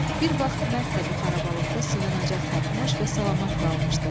Bir vaxt mərd də bu xarabalıqda sığınacaq tapmış və salamat qalmışdı.